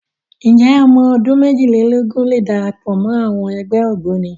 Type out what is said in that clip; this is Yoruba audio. Ǹjẹ́ ọmọ ọdún méjìlélógún lè darapọ̀ wọ ẹgbẹ́ Ògboni?